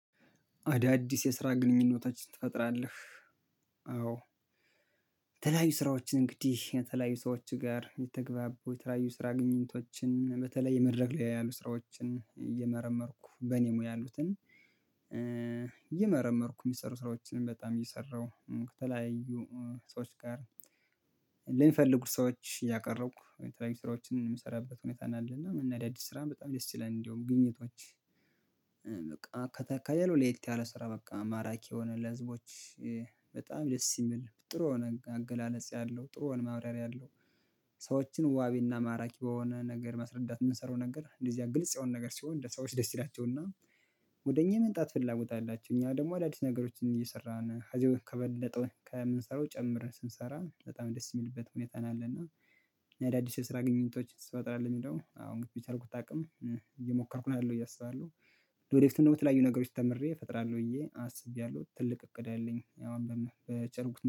አዳዲስ የስራ ግንኙነቶችን ትፈጥራለህ? አዎ የተለያዩ ስራዎችን እንግዲህ የተለያዩ ሰዎች ጋር የተግባቡ የተለያዩ ስራ ግንኝቶችን በተለይ የመድረክ ላይ ያሉ ስራዎችን እየመረመርኩ በኔ ሙያ ያሉትን እየመረመርኩ የሚሰሩ ስራዎችን በጣም እየሰራሁ ከተለያዩ ሰዎች ጋር። ልንፈልጉ ሰዎች ያቀረብኩ የተለያዩ ስራዎችን የምሰራበት ሁኔታ አለና አዳዲስ ስራ በጣም ደስ ይለል እንደውም ግኝቶች ከለላው ለየት ያለ ስራ በቃ ማራኪ የሆነ ለህዝቦች በጣም ደስ የምል ጥሩ የሆነ አገላለጽ ያለው ጥሩ የሆነ ማብራሪያ ያለው። ሰዎችን ዋቢና ማራኪ በሆነ ነገር ማስረዳት የምንሰራው ነገር እንደዚያ ግልጽ የሆነ ነገር ሲሆን ለሰዎች ደስ ይላቸውና ወደ እኛ መምጣት ፍላጎት አላቸው። እኛ ደግሞ አዳዲስ ነገሮችን እየሰራን ሀዘያው ከበለጠው ከምንሰራው ጨምረን ስንሰራ በጣም ደስ የሚልበት ሁኔታ ነው። ያለና አዳዲስ የስራ ግንኙነቶች ስፈጥርለህ የሚለው አው በቻልኩት አቅም እየሞከርኩ ነው ያለው ብየ አስባለሁ። ለወደፊት ደሞ በተለያዩ ነገሮች ተምሬ እፈጥራለሁ ብዬ አስቤያለሁ ትልቅ እቅድ አለኝ። አሁን በጨርጉት